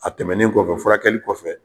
A tɛmɛnen kɔfɛ furakɛli kɔfɛ